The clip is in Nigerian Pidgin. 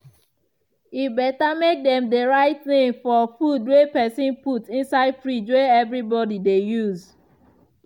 e better make dem dey write name for food wey pesin put inside fridge wey everybody dey use.